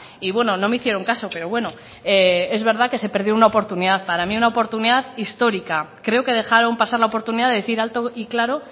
y bueno no me hicieron caso pero bueno es verdad que se perdió una oportunidad para mí una oportunidad histórica creo que dejaron pasar la oportunidad de decir alto y claro